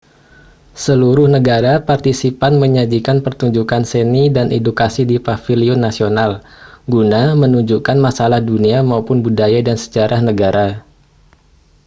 seluruh negara partisipan menyajikan pertunjukan seni dan edukasi di paviliun nasional guna menunjukkan masalah dunia maupun budaya dan sejarah negara